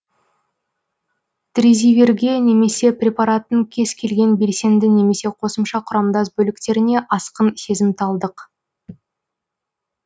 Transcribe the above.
тризивирге немесе препараттың кез келген белсенді немесе қосымша құрамдас бөліктеріне асқын сезімталдық